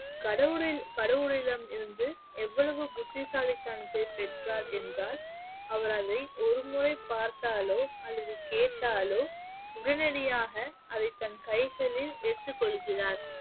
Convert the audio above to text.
கடவுளை கடவுளிடம் இருந்து எவ்வளவு புத்திசாலித்தனத்தை பெற்றார் என்றால் அவர் அதை ஒருமுறை பார்த்தாலோ அல்லது கேட்டாலோ உடனடியாக அதை தன் கைகளில் ஏற்றுக் கொள்கிறார்